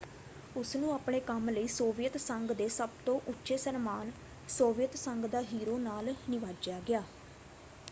ਉਸਨੂੰ ਆਪਣੇ ਕੰਮ ਲਈ ਸੋਵੀਅਤ ਸੰਘ ਦੇ ਸਭ ਤੋਂ ਉੱਚੇ ਸਨਮਾਨ ਸੋਵੀਅਤ ਸੰਘ ਦਾ ਹੀਰੋ” ਨਾਲ ਨਿਵਾਜਿਆ ਗਿਆ।